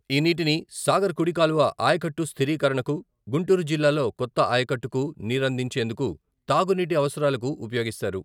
ఈ నీటిని సాగర్ కుడి కాలువ ఆయకట్టు స్థిరీకరణకు, గుంటూరు జిల్లాలో కొత్త ఆయకట్టుకు నీరందించేందుకు, తాగునీటి అవసరాలకు ఉపయోగిస్తారు.